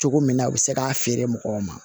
Cogo min na u bɛ se k'a feere mɔgɔw ma